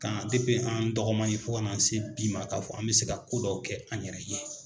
K'an an dɔgɔma fɔ ka se bi Mali k'a fɔ an bɛ se ka ko dɔ kɛ an yɛrɛ ye!